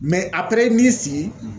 n'i y'i sigi